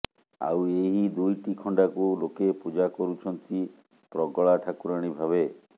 ଆଉ ଏହି ଦୁଇଟି ଖଣ୍ଡାକୁ ଲୋକେ ପୂଜା କରୁଛନ୍ତି ପ୍ରଗଳା ଠାକୁରାଣୀ ଭାବେ